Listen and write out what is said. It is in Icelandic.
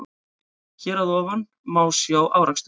Hér að ofan má sjá afraksturinn.